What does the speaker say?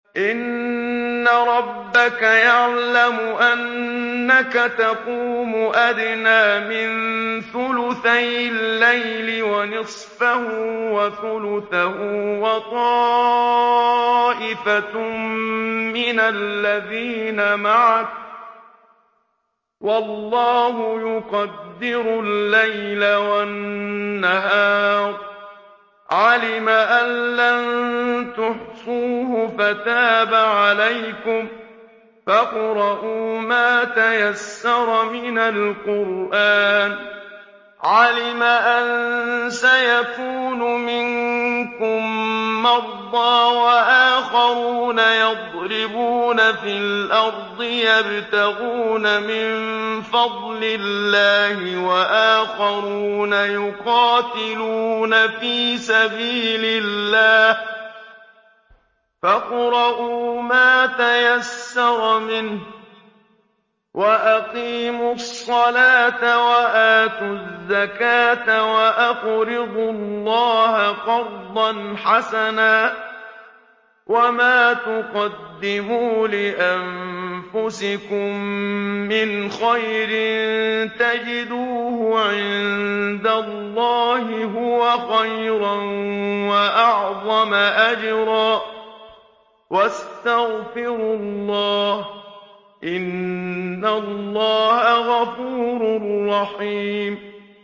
۞ إِنَّ رَبَّكَ يَعْلَمُ أَنَّكَ تَقُومُ أَدْنَىٰ مِن ثُلُثَيِ اللَّيْلِ وَنِصْفَهُ وَثُلُثَهُ وَطَائِفَةٌ مِّنَ الَّذِينَ مَعَكَ ۚ وَاللَّهُ يُقَدِّرُ اللَّيْلَ وَالنَّهَارَ ۚ عَلِمَ أَن لَّن تُحْصُوهُ فَتَابَ عَلَيْكُمْ ۖ فَاقْرَءُوا مَا تَيَسَّرَ مِنَ الْقُرْآنِ ۚ عَلِمَ أَن سَيَكُونُ مِنكُم مَّرْضَىٰ ۙ وَآخَرُونَ يَضْرِبُونَ فِي الْأَرْضِ يَبْتَغُونَ مِن فَضْلِ اللَّهِ ۙ وَآخَرُونَ يُقَاتِلُونَ فِي سَبِيلِ اللَّهِ ۖ فَاقْرَءُوا مَا تَيَسَّرَ مِنْهُ ۚ وَأَقِيمُوا الصَّلَاةَ وَآتُوا الزَّكَاةَ وَأَقْرِضُوا اللَّهَ قَرْضًا حَسَنًا ۚ وَمَا تُقَدِّمُوا لِأَنفُسِكُم مِّنْ خَيْرٍ تَجِدُوهُ عِندَ اللَّهِ هُوَ خَيْرًا وَأَعْظَمَ أَجْرًا ۚ وَاسْتَغْفِرُوا اللَّهَ ۖ إِنَّ اللَّهَ غَفُورٌ رَّحِيمٌ